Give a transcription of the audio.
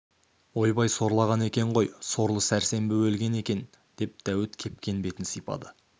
ойбай сорлаған екен ғой сорлы сәрсенбі өлген екен деп дәуіт кепкен бетін сипады